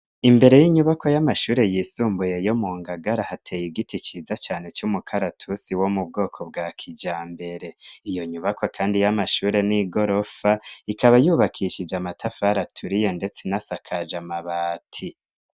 Imbere y'inyubako y'amashure yisumbuye yo mu ngagara hateye igiti ciza cane c'umukaratusi wo mu bwoko bwa kija mbere iyo nyubako, kandi y'amashure n'i gorofa ikaba yubakishije amatafar aturiye, ndetse nas akaje amabati.